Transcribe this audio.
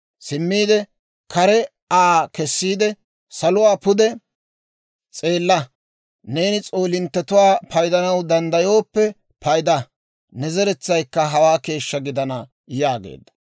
Simmiide kare Aa kessiide, «Saluwaa pude s'eella; neeni s'oolinttetuwaa paydanaw danddayooppe payda; ne zeretsaykka hawaa keeshshaa gidana» yaageedda.